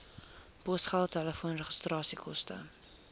posgeld telefoon regskoste